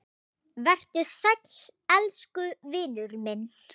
Vertu sæll elsku vinur minn.